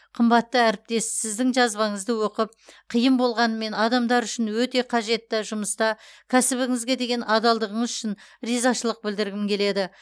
қымбатты әріптес сіздің жазбаңызды оқып қиын болғанымен адамдар үшін өте қажетті жұмыста кәсібіңізге деген адалдығыңыз үшін ризашылық білдіргім келеді